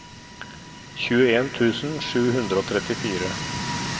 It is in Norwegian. tjueen tusen sju hundre og trettifire